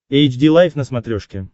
эйч ди лайф на смотрешке